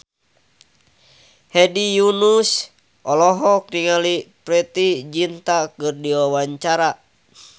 Hedi Yunus olohok ningali Preity Zinta keur diwawancara